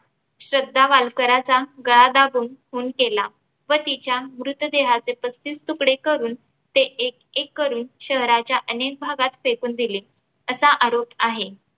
श्रद्धा वालकराचा गळा दाबून खून केला व तिच्या मृतदेहाचे पस्तीस तुकडे करुन ते एक एक करुन शहराच्या अनेक भागात फेकून दिले असा आरोप आहे.